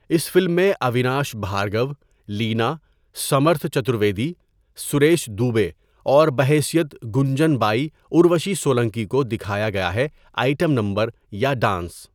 اس film میں اویناش بھارگو، لینا، سمرتھ چترویدی، سریش دوبے اور بحیثیت گنجن بائی اروشی سولنکی کو دکھایا گیا ہے آئٹم نمبر یا ڈانس.